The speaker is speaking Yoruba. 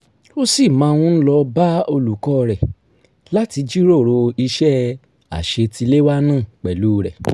ó ṣì máa ń lọ bá olùkọ́ rẹ̀ láti jíròrò iṣẹ́ àṣetiléwá náà pẹ̀lú rẹ̀